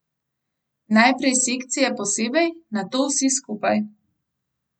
Najprej sekcije posebej, nato vsi skupaj.